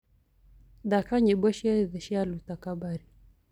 thaka nyĩmbo cĩothe cĩa luta kabari